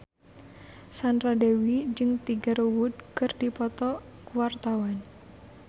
Sandra Dewi jeung Tiger Wood keur dipoto ku wartawan